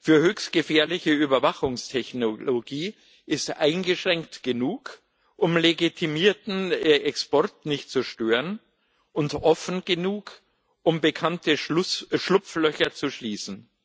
für höchst gefährliche Überwachungstechnologie ist eingeschränkt genug, um legitimierten Export nicht zu stören, und offen genug, um bekannte Schlupflöcher zu schließen.